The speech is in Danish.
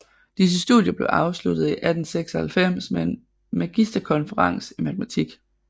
Disse studier blev afsluttet i 1896 med en magisterkonferens i matematik